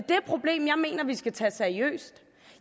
problem jeg mener vi skal tage seriøst